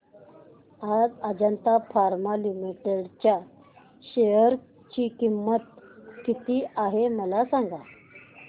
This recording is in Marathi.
आज अजंता फार्मा लिमिटेड च्या शेअर ची किंमत किती आहे मला सांगा